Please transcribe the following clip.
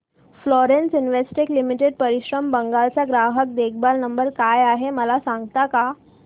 Florence Investech Limited Paschim Bangal चा ग्राहक देखभाल नंबर काय आहे मला सांगता का